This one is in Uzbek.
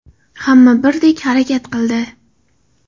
Hamma birdek harakat qildi.